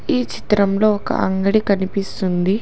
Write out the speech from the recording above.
ఈ చిత్రంలో ఒక అంగడి కనిపిస్తుంది.